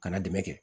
Kana dɛmɛ kɛ